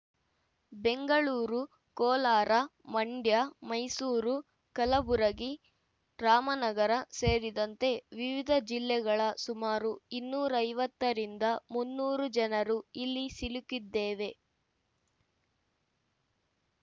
ಬೆಂಗಳೂರು ಕೋಲಾರ ಮಂಡ್ಯ ಮೈಸೂರು ಕಲಬುರಗಿ ರಾಮನಗರ ಸೇರಿದಂತೆ ವಿವಿಧ ಜಿಲ್ಲೆಗಳ ಸುಮಾರು ಇನ್ನೂರ ಐವತ್ತರಿಂದ ಮುನ್ನೂರು ಜನರು ಇಲ್ಲಿ ಸಿಲುಕಿದ್ದೇವೆ